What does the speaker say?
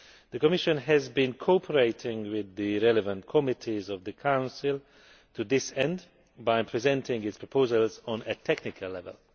The Commission has been cooperating with the relevant committees of the Council to this end by presenting its proposals on a technical level.